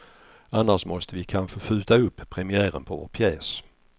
Annars måste vi kanske skjuta upp premiären på vår pjäs.